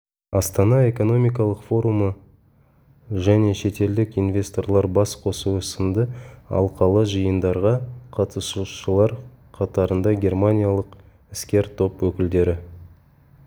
астана экономикалық форумы жне шетелдік инвесторлар бас қосуы сынды алқалы жиындарға қатысушылар қатарында германиялық іскер топ өкілдері